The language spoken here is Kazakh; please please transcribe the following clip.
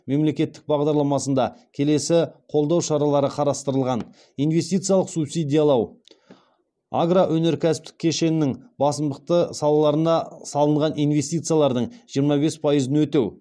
мемлекеттік бағдарламасында келесі қолдау шаралары қарастырылған инвестициялық субсидиялау агро өнеркәсіптік кешенінің басымдықты салаларына салынған инвестициялардың жиырма бес пайызын өтеу